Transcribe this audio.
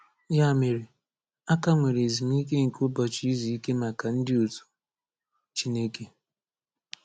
Ya mere, a ka nwere ezumike nke ụbọchị izu ike maka ndị otu Chineke”